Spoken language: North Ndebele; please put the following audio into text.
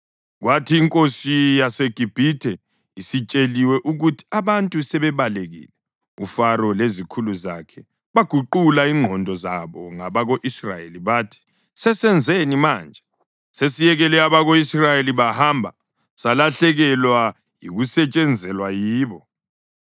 Kwathi inkosi yaseGibhithe isitsheliwe ukuthi abantu sebebalekile, uFaro lezikhulu zakhe baguqula ingqondo zabo ngabako-Israyeli bathi, “Sesenzeni manje? Sesiyekele abako-Israyeli bahamba salahlekelwa yikusetshenzelwa yibo!”